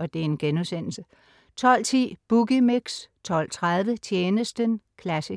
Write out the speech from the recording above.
12.10 Boogie Mix 12.30 Tjenesten classic